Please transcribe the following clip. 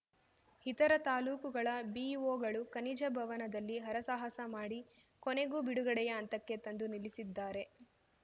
ಇತರ ತಾಲೂಕುಗಳ ಬಿಇಒಗಳು ಖನಿಜ ಭವನದಲ್ಲಿ ಹರಸಾಹಸ ಮಾಡಿ ಕೊನೆಗೂ ಬಿಡುಗಡೆಯ ಹಂತಕ್ಕೆ ತಂದು ನಿಲ್ಲಿಸಿದ್ದಾರೆ